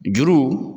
Juru